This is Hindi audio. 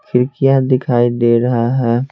खिड़कियां दिखाई दे रहा है।